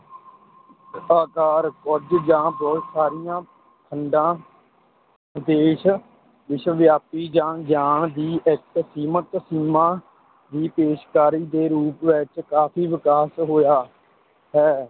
ਅਕਾਰ ਕੁੱਝ ਜਾਂ ਬਹੁਤ ਸਾਰੀਆਂ ਖੰਡਾਂ, ਉਦੇਸ਼ ਵਿਸ਼ਵਵਿਆਪੀ ਜਾਂ ਗਿਆਨ ਦੀ ਇੱਕ ਸੀਮਤ ਸੀਮਾ ਦੀ ਪੇਸ਼ਕਾਰੀ ਦੇ ਰੂਪ ਵਿੱਚ ਕਾਫ਼ੀ ਵਿਕਾਸ ਹੋਇਆ ਹੈ।